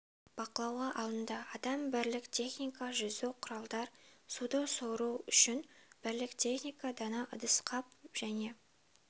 бақылауға алынды адам бірлік техника жүзу құралдар суды сору үшін бірлік техника дана ыдыс-қап және